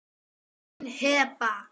Þín, Heba.